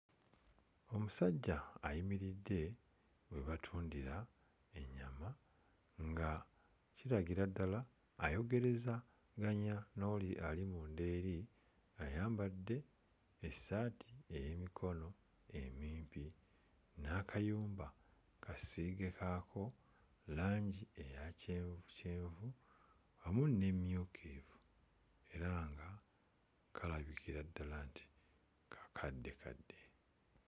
Omusajja ayimiridde we batundira ennyama nga kiragira ddala ayogerezalanya n'oli ali munda eri, ayambadde essaati ey'emikono emimpi n'akayumba kasiige kaako langi eya kyenvukyenvu wamu n'emmyukirivu era nga kalabikira ddala nti kakaddekadde.